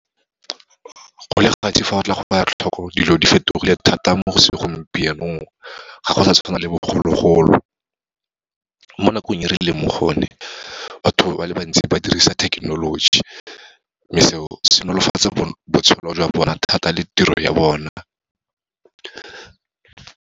Go le gantsi fa o tla go ela tlhoko dilo di fetogile thata mo segompienong, ga go sa tshwana le bogologolo. Mo nakong e re leng mo go yone, batho ba le bantsi ba dirisa thekenoloji, mme seo se nolofatsa botshelo jwa bona thata le tiro ya bona.